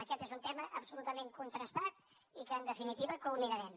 aquest és un tema absolutament contrastat i que en definitiva culminarem